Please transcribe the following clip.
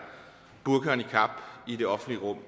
burka og niqab i det offentlige rum